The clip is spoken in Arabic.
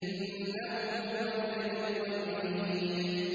إِنَّهُ هُوَ يُبْدِئُ وَيُعِيدُ